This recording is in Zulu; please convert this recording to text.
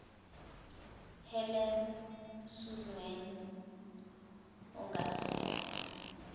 helen suzman ongasekho